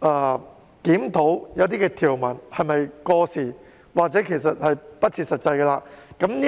而檢討一些條文是否過時或不切實際？